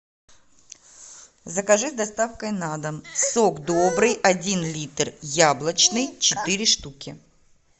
закажи с доставкой на дом сок добрый один литр яблочный четыре штуки